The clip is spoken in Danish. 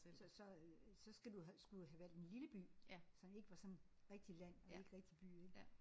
Så så øh så skal du skulle du have valgt en lille by som ikke var sådan rigtig land og ikke rigtig by ik